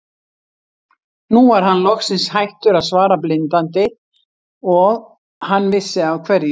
Nú var hann loksins hættur að svara blindandi og hann vissi af hverju.